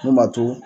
Min b'a to